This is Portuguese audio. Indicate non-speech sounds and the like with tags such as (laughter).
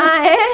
Ah, é? (laughs)